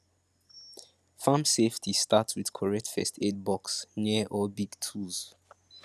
farm safety start with correct first aid box near all big tools